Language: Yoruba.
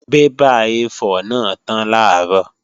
Bébà A4 náà tán làárọ̀